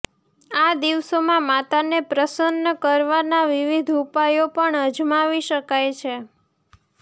આ દિવસોમાં માતાને પ્રસન્ન કરવાના વિવિધ ઉપાયો પણ અજમાવી શકાય છે